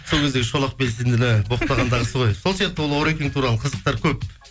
сол кездегі шолақ белсендіні боқтағандағысы ғой сол сияқты ол орекең туралы қызықтар көп